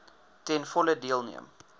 ten volle deelneem